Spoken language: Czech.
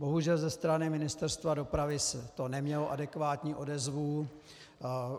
Bohužel ze strany Ministerstva dopravy to nemělo adekvátní odezvu.